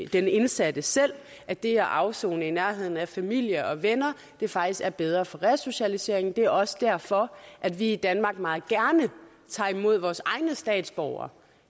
den indsatte selv at det at afsone i nærheden af familie og venner faktisk er bedre for resocialiseringen det er også derfor at vi i danmark meget gerne tager imod vores egne statsborgere